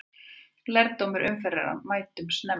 Lærdómur umferðarinnar: Mætum snemma!